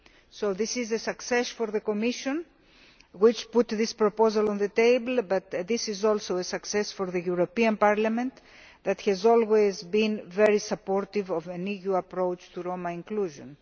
So this is a success for the Commission, which put this proposal on the table, but it is also a success for the European Parliament, which has always been very supportive of an EU approach to Roma inclusion.